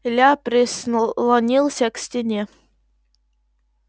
илья прислонился к стене